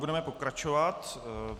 Budeme pokračovat.